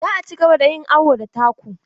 Za a cigaba da yin awo da taku.